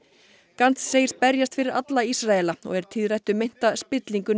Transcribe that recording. gantz segist berjast fyrir alla Ísraela og er tíðrætt um meinta spillingu